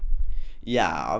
já